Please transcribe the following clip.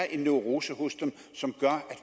en neurose hos dem som gør